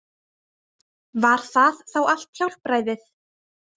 Var það þá allt hjálpræðið?